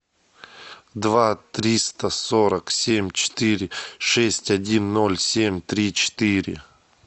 два триста сорок семь четыре шесть один ноль семь три четыре